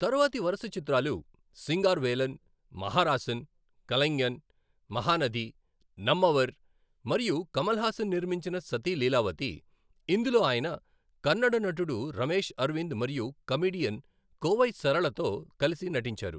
తరువాతి వరుస చిత్రాలు, సింగారవేలన్, మహరాసన్, కలైఙ్గన్, మహానది, నమ్మవర్, మరియు కమల్ హాసన్ నిర్మించిన సతీ లీలావతి, ఇందులో ఆయన కన్నడ నటుడు రమేష్ అరవింద్ మరియు కమీడియన్ కోవై సరళతో కలిసి నటించారు.